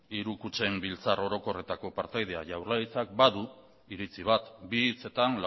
hiru kutxen biltzar orokorretako partaidea jaurlaritzak badu iritzi bat bi hitzetan